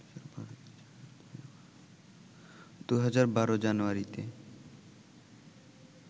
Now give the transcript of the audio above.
২০১২ জানুয়ারিতে